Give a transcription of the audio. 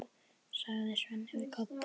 sagði Svenni við Kobba.